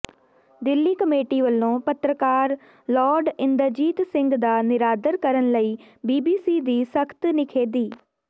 Delhi committee ਵੱਲੋਂ ਪੱਤਰਕਾਰ Lord Inderjit Singh ਦਾ ਨਿਰਾਦਰ ਕਰਨ ਲਈ ਬੀਬੀਸੀ ਦੀ ਸਖ਼ਤ ਨਿਖੇਧੀ